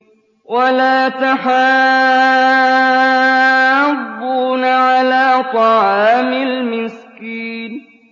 وَلَا تَحَاضُّونَ عَلَىٰ طَعَامِ الْمِسْكِينِ